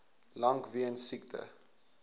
lank weens siekte